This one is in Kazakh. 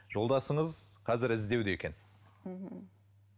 жолдасыңыз қазір іздеуде екен